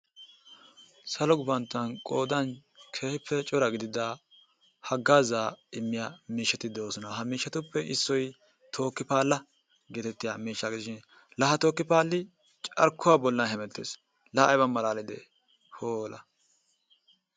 Salo gufantto qoodan keehippe cora gidida haggaazaa immiya miishshati de'oosona. Ha miishshatuppe issoy tookki paalla geetettiyagaa gidishin laa ha tookki paalli carkkuwa bollan hemettees. Laa ayba malaalide,,